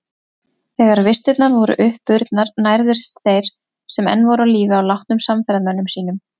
Þegar vistirnar voru uppurnar nærðust þeir sem enn voru á lífi á látnum samferðamönnum sínum.